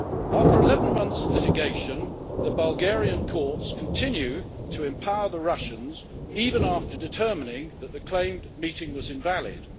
After 11 months' litigation, the Bulgarian courts continue to empower the Russians, even after determining that the claimed meeting was invalid.